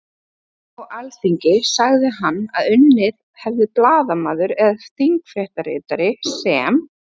Á Alþingi sagði hann að unnið hefði blaðamaður eða þingfréttaritari sem